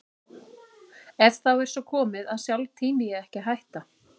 En þá er svo komið að sjálf tími ég ekki að hætta.